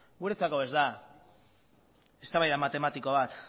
guretzako ez da eztabaida matematiko bat